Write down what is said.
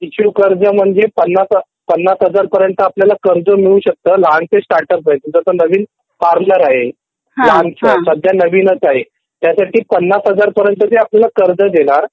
शिशु कर्ज म्हणजे ५० हजार पर्यंत आपलयाला कर्ज मिळू शकतं लहानसा स्टार्ट अप आहे तुझं आता नवीन पार्लर आहे सध्या नवीनच आहे ह्यासाठी ५० हजार पर्यंतची तुला कर्ज देणार